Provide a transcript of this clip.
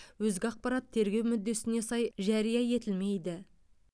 өзге ақпарат тергеу мүддесіне сай жария етілмейді